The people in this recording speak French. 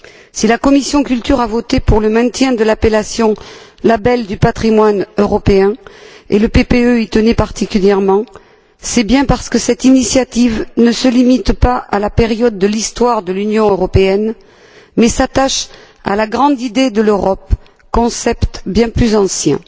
Si la commission de la culture et de l'éducation a voté pour le maintien de l'appellation label du patrimoine européen, et le PPE y tenait particulièrement, c'est bien parce que cette initiative ne se limite pas à la période de l'histoire de l'Union européenne, mais s'attache à la grande idée de l'Europe, concept bien plus ancien.